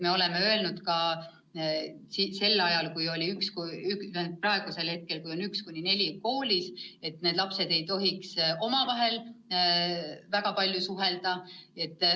Me oleme öelnud, et kui praegu on 1.–4. klass koolis, siis need lapsed ei tohiks omavahel väga palju suhelda.